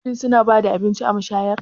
Shin suna ba da abinci a mashayar?